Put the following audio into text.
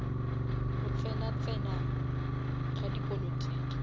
go tsena tsena ga dipolotiki